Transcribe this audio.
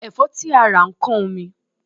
Ẹ̀fọ́ tí a rà ó ń kán omi.